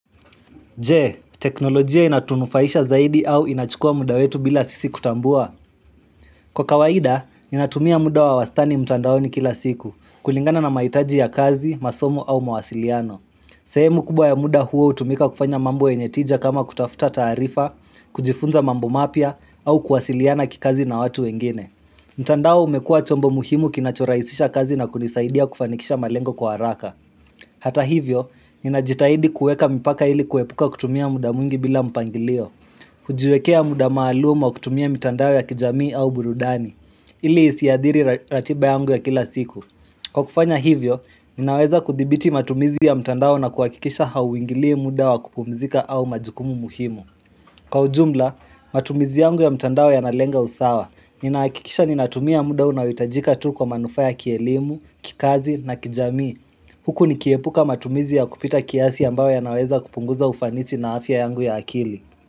Je, teknolojia inatunufaisha zaidi au inachukua muda wetu bila sisi kutambua? Kwa kawaida, inatumia muda wa wastani mtandaoni kila siku, kulingana na maitaji ya kazi, masomo au mawasiliano. Sehemu kubwa ya muda huo hutumika kufanya mambo yenye tija kama kutafuta taarifa, kujifunza mambo mapya, au kuwasiliana kikazi na watu wengine. Mtandao umekua chombo muhimu kinacho rahisisha kazi na kunisaidia kufanikisha malengo kwa haraka. Hata hivyo, ninajitahidi kueka mipaka ili kuepuka kutumia muda mwingi bila mpangilio. Kujiwekea muda maalum wa kutumia mitandao ya kijamii au burudani. Ili isiadhiri ratiba yangu ya kila siku. Kwa kufanya hivyo, ninaweza kuthibiti matumizi ya mtandao na kuhakikisha hauingili muda wa kupumzika au majukumu muhimu. Kwa ujumla, matumizi yangu ya mtandao yanalenga usawa. Ninahakikisha ninatumia muda unayohitajika tu kwa manufaa ya kielimu, kikazi na kijamii. Huku nikiepuka matumizi ya kupita kiasi ambayo yanaweza kupunguza ufanisi na afya yangu ya akili.